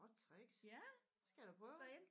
Godt tricks det skal jeg da prøve